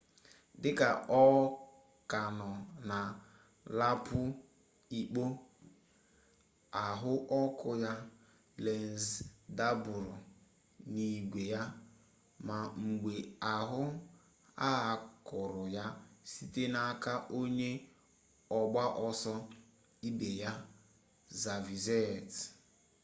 dị ka ọ ka nọ na laapụ ikpo ahụ ọkụ ya lenz dapụrụ n'igwe ya ma mgbe ahụ a kụrụ ya site n'aka onye ọgba ọsọ ibe ya xavier zayat